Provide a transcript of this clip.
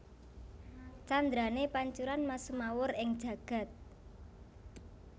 Candrané Pancuran mas sumawur ing jagad